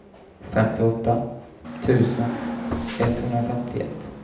femtioåtta tusen etthundrafemtioett